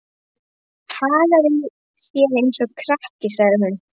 Hagar þér eins og krakki, sagði hún.